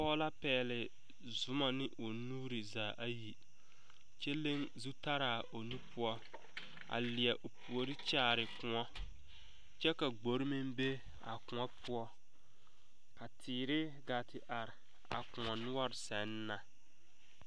Pɔge la pɛgle Zuma ne o nuuri zaa ayi kyɛ leŋ zutalaa o nu poɔ a leɛ o puori kyaare koɔ kyɛ ka gbore meŋ be a koɔ poɔ ka teete gaa te are a koɔ noɔre seŋ na.